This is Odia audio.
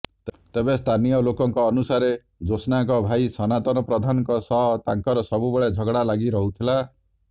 ତେବେ ସ୍ଥାନୀୟ ଲୋକଙ୍କ ଅନୁସାରେ ଜ୍ୟୋଷ୍ଣାଙ୍କ ଭାଇ ସନାତନ ପ୍ରଧାନଙ୍କ ସହ ତାଙ୍କର ସବୁବେଳେ ଝଗଡା ଲାଗି ରହୁଥିଲା